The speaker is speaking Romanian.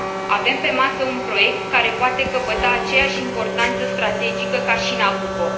Avem pe masă un proiect care poate căpăta aceeași importanță strategică ca și Nabucco.